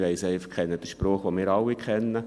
Ich kenne einfach den Spruch, den wir alle kennen: